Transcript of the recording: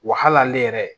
Wa hali ne yɛrɛ